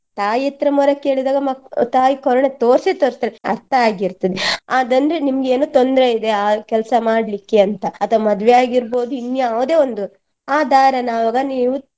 ತಾಯಿ ಹತ್ರ ಮೊರೆ ಕೇಳಿದಾಗ ಮಕ್~ ತಾಯಿ ಕರುಣೆ ತೊರ್ಸಿಯೆ ತೊರ್ಸ್ತಾರೆ ಅರ್ಥ ಆಗಿರ್ತದೆ ಅದಂದ್ರೆ ನಿಮ್ಗೆನೋ ತೊಂದ್ರೆ ಇದೆ ಆ ಕೆಲಸ ಮಾಡ್ಲಿಕ್ಕೆ ಅಂತ ಅಥವಾ ಮದ್ವೆಯಾಗಿರ್ಬೋದು ಇನ್ನಾವುದೋ ಒಂದು ಆ ದಾರನ ಆವಾಗ ನೀವು.